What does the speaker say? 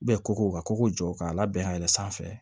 Bɛ koko ka koko jɔ k'a labɛn ka yɛlɛ sanfɛ